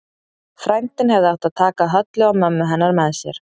Frændinn hefði átt að taka Höllu og mömmu hennar með sér.